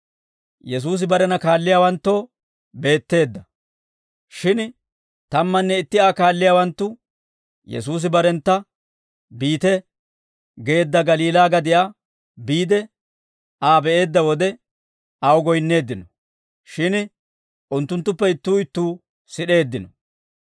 Shin tammanne itti Aa kaalliyaawanttu Yesuusi barentta biite geedda Galiilaa gadiyaa biide Aa be'eedda wode, aw goyinneeddino; shin unttunttuppe ittuu ittuu sid'eeddino.